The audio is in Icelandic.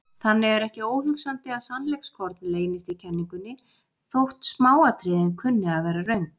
Þannig er ekki óhugsandi að sannleikskorn leynist í kenningunni þótt smáatriðin kunni að vera röng.